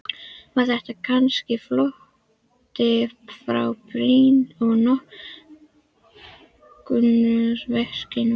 Var þetta kannski flótti frá brýnni og nákomnari verkefnum?